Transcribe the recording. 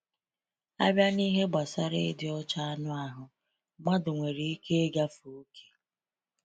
A bịa n’ihe gbasara ịdị ọcha anụ ahụ, mmadụ nwere ike ịgafe okè.